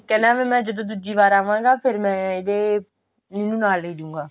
ਕਹਿੰਦਾ ਮੈਂ ਜਦੋਂ ਦੁੱਜੀ ਵਾਰੀ ਫੇਰ ਮੈਂ ਇਹਦੇ ਇਹਨੂੰ ਨਾਲ ਲੇਜੁਗਾ